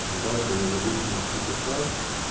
завтра не забыть внести заказ